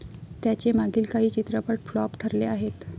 त्याचे मागील काही चित्रपट फ्लॉप ठरले आहेत.